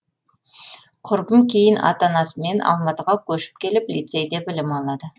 құрбым кейін ата анасымен алматыға көшіп келіп лицейде білім алады